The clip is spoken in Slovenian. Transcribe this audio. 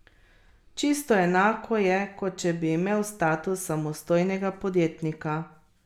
Čisto enako je, kot če bi imel status samostojnega podjetnika.